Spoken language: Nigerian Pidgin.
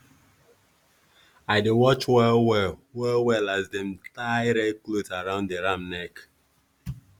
the gods talk say make dem bring two animals for sacrifice after rain no fall for three years.